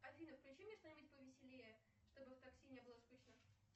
афина включи мне что нибудь повеселее чтобы в такси не было скучно